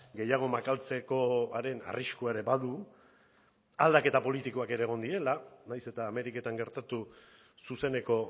gehiago makaltzekoaren arriskua ere badu aldaketa politikoak ere egon direla nahiz eta ameriketan gertatu zuzeneko